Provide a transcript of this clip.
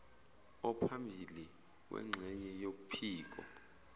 ophambili wengxenye yophiko